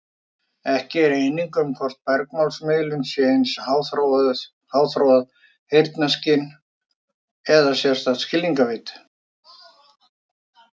Ekki er eining um hvort bergmálsmiðun sé aðeins háþróað heyrnarskyn eða sérstakt skilningarvit.